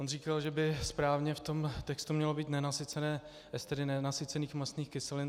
On říkal, že by správně v tom textu mělo být nenasycené estery nenasycených mastných kyselin.